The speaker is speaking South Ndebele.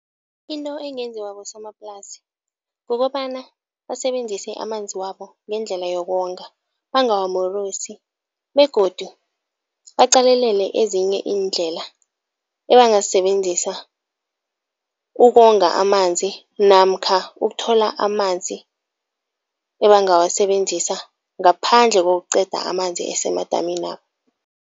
Into engenziwa bosomaplasi kukobana basebenzise amanzi wabo ngendlela yokonga, bangawamorosi begodu baqalelele ezinye iindlela ebangazisebenzisa ukonga amanzi namkha ukuthola amanzi ebangawasebenzisa ngaphandle kokuqeda amanzi asemadaminabo.